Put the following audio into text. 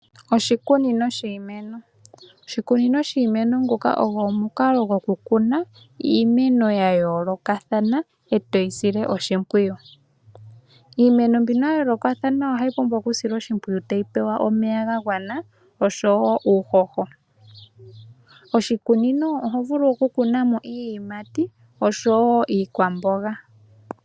Oshikunino shiimeno, oshikunino shiimeno nguka ogo omukalo gwokukuna iimeno ya yoolokathana etoyi sile oshimpwiyu, iimeno mbino ya yoolokathana ohayi pumbwa oku silwa oshimpwiyu tayi pewa omeya ga gwana oshowo uuhoho, oshikunino oho vulu oku kuna mo iiyimati oshowo iikwamboga